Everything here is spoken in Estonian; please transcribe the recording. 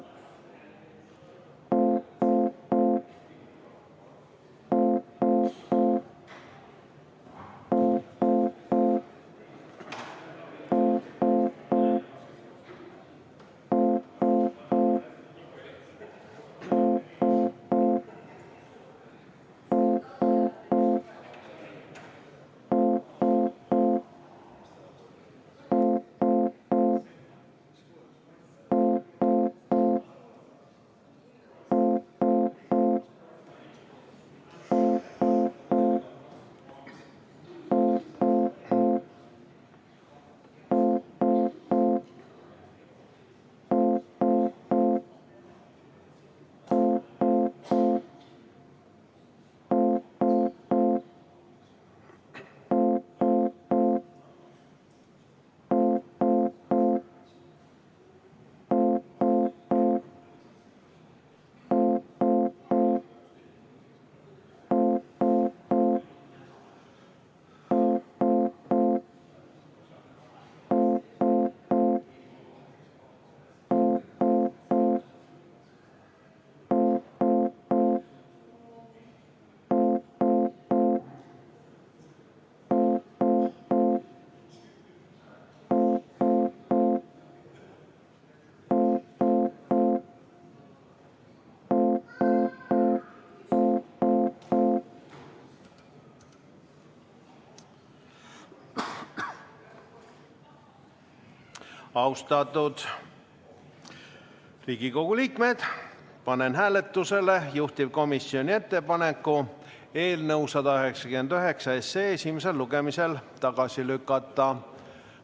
Austatud Riigikogu liikmed, panen hääletusele juhtivkomisjoni ettepaneku eelnõu 199 esimesel lugemisel tagasi lükata.